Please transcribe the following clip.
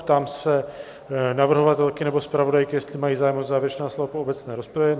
Ptám se navrhovatelky nebo zpravodajky, jestli mají zájem o závěrečná slova po obecné rozpravě?